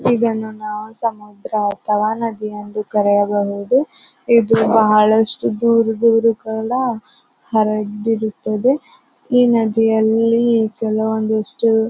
ಇದನ್ನು ನಾವು ಸಮುದ್ರ ಅಥವಾ ನದಿ ಎಂದು ಕರೆಯಬಹುದು. ಇದು ಬಹಳಷ್ಟು ದೂರ ದೂರದಲ್ಲಾ ಹರಿದಿರುತ್ತದೆ. ಈ ನದಿಯಲ್ಲಿ ಕೆಲವೊಂದಷ್ಟು --